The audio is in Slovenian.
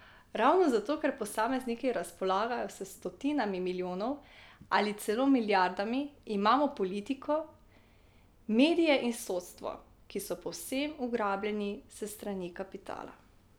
Ravno zato, ker posamezniki razpolagajo s stotinami milijonov ali celo milijardami, imamo politiko, medije in sodstvo, ki so povsem ugrabljeni s strani kapitala ...